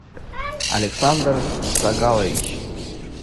александр сагалович